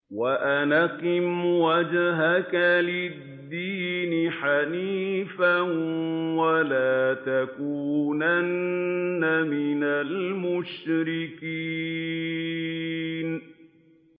وَأَنْ أَقِمْ وَجْهَكَ لِلدِّينِ حَنِيفًا وَلَا تَكُونَنَّ مِنَ الْمُشْرِكِينَ